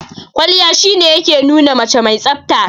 Kwalliya shi ne ya ke nuna mace mai tsafta.